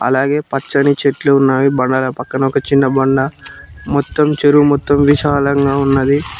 అలాగే పచ్చని చెట్లు ఉన్నాయి బండల పక్కన చిన్న బండ మొత్తం చెరువు మొత్తం విశాలంగా ఉన్నది.